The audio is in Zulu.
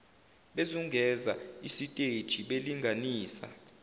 bezungeza isiteji belinganisa